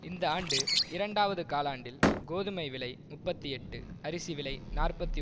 இந்த ஆண்டு இரண்டாவது காலாண்டில் கோதுமை விலை முப்பத்தி எட்டு அரிசிவிலை நாற்பத்தி